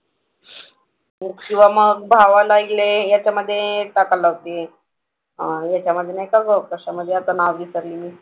हो किंवा मग भावाला हे याच्यामधे टाकायला लावते अह ह्याच्यामधे नाही का ग कशामधे आता नाव विसरली मी.